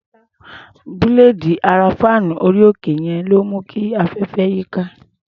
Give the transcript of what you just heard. Búléèdì ara fáànù orí-òkè yẹn ló ń mú kí afẹ́fẹ́ yíká.